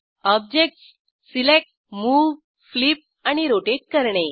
objects select move flip आणि rotate करणे